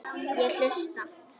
Ég hlusta.